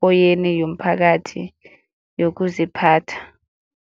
kweyene yomphakathi yokuziphatha.